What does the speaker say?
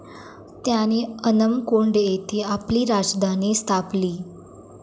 त्याने अनमकोंड येथे आपली राजधानी स्थापली.